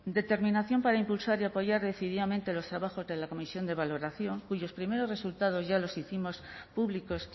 determinación para impulsar y apoyar decididamente los trabajos de la comisión de valoración cuyos primeros resultados ya los hicimos públicos